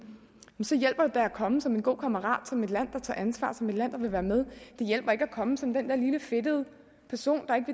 så hjælper det da at komme som en god kammerat som et land der tager ansvar som et land der vil være med det hjælper ikke at komme som den der lille fedtede person